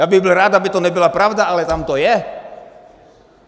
Já bych byl rád, aby to nebyla pravda, ale tam to je!